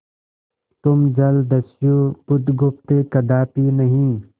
तुम जलदस्यु बुधगुप्त कदापि नहीं